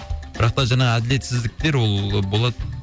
бірақ та жаңа әділетсіздіктер ол болады